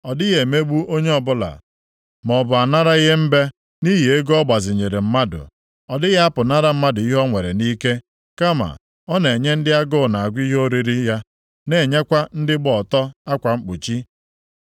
Ọ dịghị emegbu onye ọbụla, maọbụ anara ihe mbe nʼihi ego ọ gbazinyere mmadụ. Ọ dịghị apụnara mmadụ ihe o nwere nʼike, kama na ọ na-enye ndị agụ na-agụ ihe oriri ya, na-enyekwa ndị gbaa ọtọ akwa mkpuchi;